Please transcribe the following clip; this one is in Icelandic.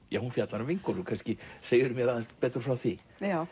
hún fjallar um vinkonur kannski segirðu mér aðeins betur frá því